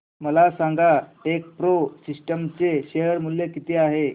मला सांगा TechPro Systems चे शेअर मूल्य किती आहे